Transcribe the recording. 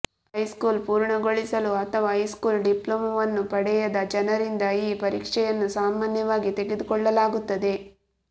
high school ಪೂರ್ಣಗೊಳಿಸಲು ಅಥವಾ high school ಡಿಪ್ಲೋಮಾವನ್ನು ಪಡೆಯದ ಜನರಿಂದ ಈ ಪರೀಕ್ಷೆಯನ್ನು ಸಾಮಾನ್ಯವಾಗಿ ತೆಗೆದುಕೊಳ್ಳಲಾಗುತ್ತದೆ